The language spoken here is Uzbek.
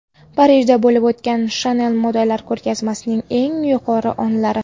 Parijda bo‘lib o‘tgan Chanel modalar ko‘rgazmasining eng yorqin onlari.